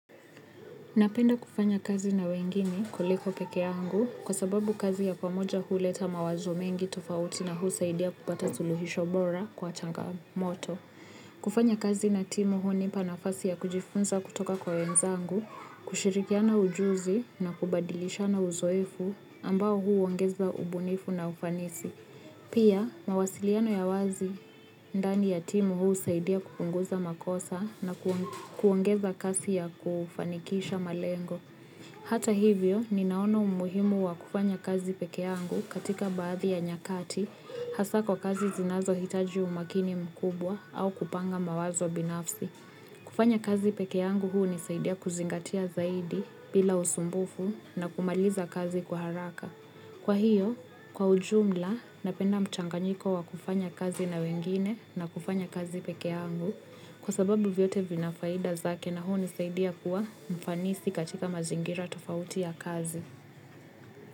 Napenda kufanya kazi na wengine kuliko pekeangu kwa sababu kazi ya kwa moja huleta mawazo mengi tofauti na husaidia kupata zuluhisho bora kwa changa moto. Kufanya kazi na timu hunipa nafasi ya kujifunza kutoka kwa wenzangu, kushirikiana ujuzi na kubadilishana uzoefu ambao huongeza ubunifu na ufanisi. Pia, mawasiliano ya wazi ndani ya timu huu saidia kupunguza makosa na kuongeza kasi ya kufanikisha malengo. Hata hivyo, ninaona umuhimu wa kufanya kazi peke yangu katika baadhi ya nyakati hasa kwa kazi zinazo hitaji umakini mkubwa au kupanga mawazo binafsi. Kufanya kazi pekee yangu hunisaidia kuzingatia zaidi bila usumbufu na kumaliza kazi kwa haraka. Kwa hiyo, kwa ujumla, napenda mchanganyiko wa kufanya kazi na wengine na kufanya kazi pekee yangu kwa sababu vyote vina faida zake na hunisaidia kuwa mfanisi katika mazingira tofauti ya kazi.